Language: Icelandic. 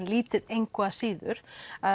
lítið engu að síður